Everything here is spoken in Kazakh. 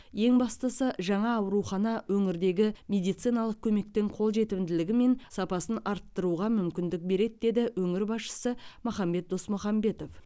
ең бастысы жаңа аурухана өңірдегі медициналық көмектің қолжетімділігі мен сапасын арттыруға мүмкіндік береді деді өңір басшысы махамбет досмұхамбетов